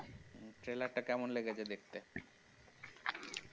trailer টা কেমন লেগেছে দেখতে